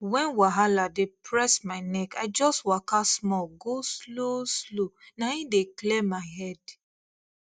when wahala dey press my neck i just waka small go slow slow na im dey clear my head